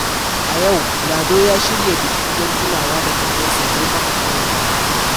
A yau, Lado ya shirya biki don tunawa da kakansa da ya kafa ƙauyen nan.